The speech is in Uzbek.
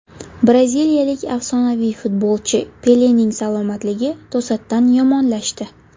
Braziliyalik afsonaviy futbolchi Pelening salomatligi to‘satdan yomonlashdi.